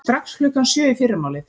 Strax klukkan sjö í fyrramálið.